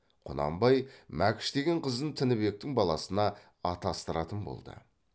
құнанбай мәкіш деген қызын тінібектің баласына атастыратын болды